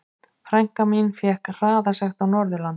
Frænka mín fékk hraðasekt á Norðurlandi.